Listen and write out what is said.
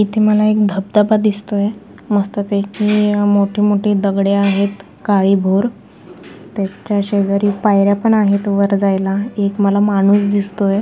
इथे मला एक धबधबा दिसतोय मस्त पैकी मोठे मोठे दगडे आहेत काळी भोर त्याच्या शेजारी पायर्‍या पण आहेत वर जायला एक मला माणूस दिसतोय.